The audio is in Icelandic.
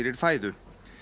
fæðu